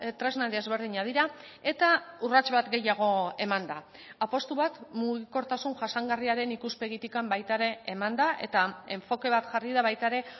tresna desberdinak dira eta urrats bat gehiago eman da apustu bat mugikortasun jasangarriaren ikuspegitik baita ere eman da eta enfoke bat jarri da baita ere